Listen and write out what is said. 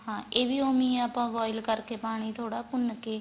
ਹਾਂ ਇਹ ਵੀ ਉਵੇ ਈ ਏ ਆਪਾਂ boil ਕਰ ਕੇ ਪਾਣੀ ਥੋੜਾ ਭੁੰਨ ਕੇ